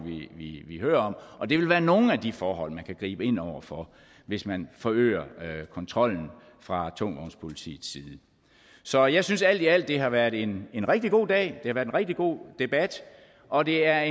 vi hører om og det vil være nogle af de forhold man kan gribe ind over for hvis man forøger kontrollen fra tungvognspolitiets side så jeg synes alt i alt at det har været en rigtig god dag og det har været en rigtig god debat og det er